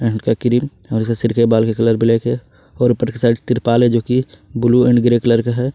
सिर के बाल का कलर ब्लैक है और ऊपर साइड तिरपाल है जो कि ब्लू एंड ग्रे कलर का है।